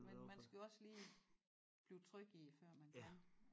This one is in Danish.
Men man skal jo også lige blive tryg i før man kan